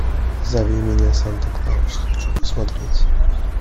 зови меня санта клаус хочу посмотреть